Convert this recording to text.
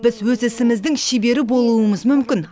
біз өз ісіміздің шебері болуымыз мүмкін